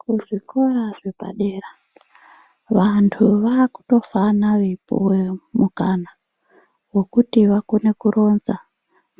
Kuzvikora zvepadera vantu vakutofana veipuwe mukana wekuti vakone kuronza